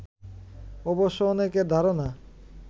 অবশ্য অনেকের ধারণা